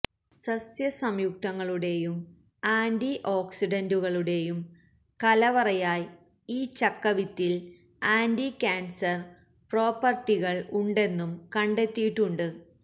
സസ്യസംയുക്തങ്ങളുടെയും ആന്റിഓക്സിഡന്റുകളുടെയും കലവറയായ് ഈ ചക്ക വിത്തിൽ ആൻറി കാൻസർ പ്രോപ്പർട്ടികൾ ഉണ്ടെന്നും കണ്ടത്തിയിട്ടുണ്ട്